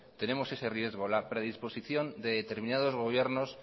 tenemos ese riesgo la predisposición de determinados gobiernos